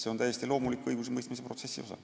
See on täiesti loomulik õigusemõistmise protsessi osa.